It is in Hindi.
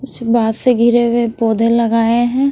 कुछ बांस से घिरे हुए पौधे लगाए हैं।